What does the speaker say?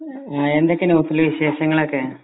ആ എന്തൊക്കയാ നൗഫൽ വിശേഷങ്ങളൊക്കെ